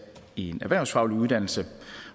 en erhvervsfaglig uddannelse